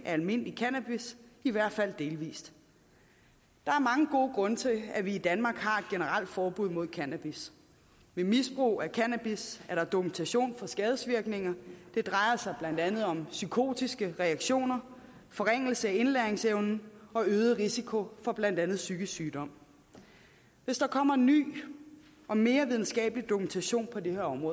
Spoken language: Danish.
af almindelig cannabis i hvert fald delvis der er mange gode grunde til at vi i danmark har et generelt forbud mod cannabis ved misbrug af cannabis er der dokumentation for skadevirkninger det drejer sig blandt andet om psykotiske reaktioner forringelse af indlæringsevnen og øget risiko for blandt andet psykisk sygdom hvis der kommer en ny og mere videnskabelig dokumentation på det her område